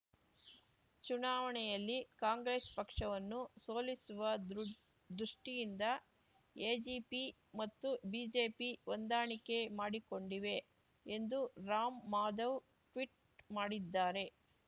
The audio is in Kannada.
ಚುನಾವಣೆಯಲ್ಲಿ ಕಾಂಗ್ರೆಸ್ ಪಕ್ಷವನ್ನು ಸೋಲಿಸುವ ದೃ ದೃಷ್ಠಿಯಿಂದ ಎಜಿಪಿ ಮತ್ತು ಬಿಜೆಪಿ ಹೊಂದಾಣಿಕೆ ಮಾಡಿಕೊಂಡಿವೆ ಎಂದು ರಾಮ್‌ಮಾಧವ್ ಟ್ವೀಟ್ ಮಾಡಿದ್ದಾರೆ